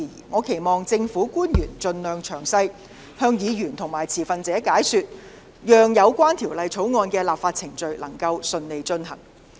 我期望政府官員盡力向議員和持份者作出詳細解說，以便有關法案的立法程序能順利進行。